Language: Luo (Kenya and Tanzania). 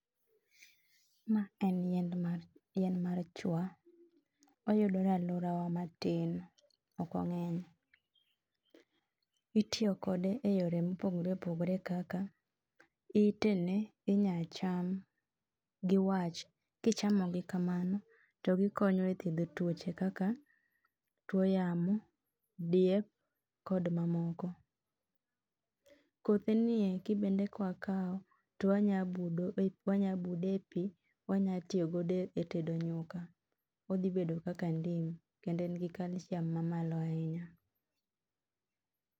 maen yien mar chwa oyudore e alworawa matin ok ongeny itiyo kode e yore mopogore opogore kaka itene inyacham giwach kichamo gi kamano gikonyo e thiedho tuoche kaka tuo yamo, diep kod mamoko kothe nieki bende kwakao twanyabude e pii wanyatiyogodo e tedo nyuka odhi bedo kaka ndim kendo en gi calcium mamalo ahinya